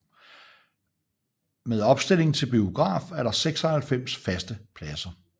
Med opstilling til biograf er der 96 faste pladser